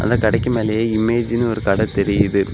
இந்த கடைக்கு மேலையே இமேஜ்ன்னு ஒரு கடை தெரியுது.